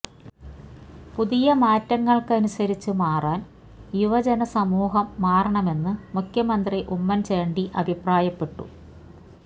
പുതിയ മാറ്റങ്ങള്ക്കനുസരിച്ച് മാറാന് യുവജന സമൂഹം മാറണമെന്ന് മുഖ്യമന്ത്രി ഉമ്മന്ചാണ്ടി അഭിപ്രായപ്പെട്ടു